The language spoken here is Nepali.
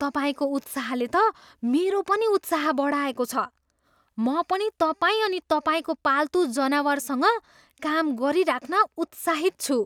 तपाईँको उत्साहले त मेरो पनि उत्साह बढाएको छ! म पनि तपाईँ अनि तपाईँको पाल्तु जनावरसँग काम गरिराख्न उत्साहित छु।